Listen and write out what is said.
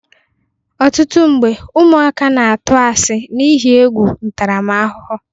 Ọtụtụ mgbe, ụmụaka na-atụ asị n'ihe egwu ntaramahụhụ